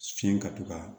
Fiɲɛ ka to ka